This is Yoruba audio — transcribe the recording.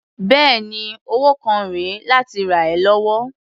Bẹ́ẹ̀ni, owó kan rè é láti rà ẹ́ lọ́wọ́.